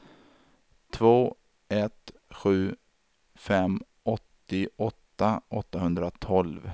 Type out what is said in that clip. två ett sju fem åttioåtta åttahundratolv